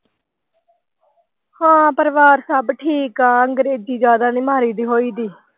ਹਾਂ ਪਰਿਵਾਰ ਸਭ ਠੀਕ ਆ ਅੰਗਰੇਜ਼ੀ ਜ਼ਿਆਦਾ ਨਹੀਂ ਮਾਰੀ ਦੀ ਹੋਈ ਦੀ।